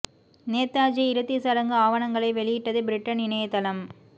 நேதாஜி இறுதிச் சடங்கு ஆவணங்களை வெளியிட்டது பிரிட்டன் இணையதளம்